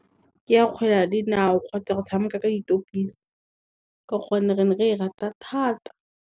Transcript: Ke a kgwele ya dinao kgotsa go tshameka ka ditopisi ka gonne re ne re e rata thata.